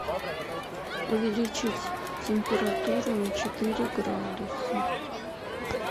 увеличить температуру на четыре градуса